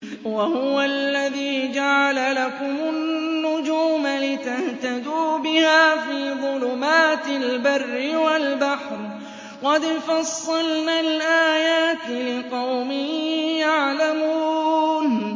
وَهُوَ الَّذِي جَعَلَ لَكُمُ النُّجُومَ لِتَهْتَدُوا بِهَا فِي ظُلُمَاتِ الْبَرِّ وَالْبَحْرِ ۗ قَدْ فَصَّلْنَا الْآيَاتِ لِقَوْمٍ يَعْلَمُونَ